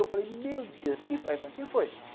Eu falei, meu Deus, o que foi?